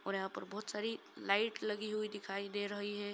ओर यहां पर बहुत सारी लाइट लगी हुई दिखाई दे रही है